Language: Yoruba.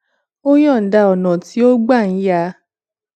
ó yòǹda ọnà tí ó gbà ń ya